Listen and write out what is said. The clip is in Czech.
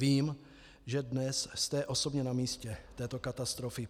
Vím, že dnes jste osobně na místě této katastrofy.